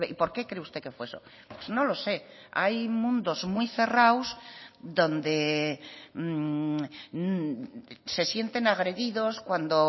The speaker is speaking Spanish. por qué cree usted que fue eso pues no lo sé hay mundos muy cerrados donde se sienten agredidos cuando